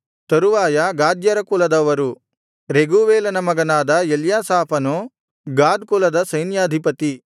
ತರುವಾಯ ಗಾದ್ಯರ ಕುಲದವರು ರೆಗೂವೇಲನ ಮಗನಾದ ಎಲ್ಯಾಸಾಫನು ಗಾದ್ ಕುಲದ ಸೈನ್ಯಾಧಿಪತಿ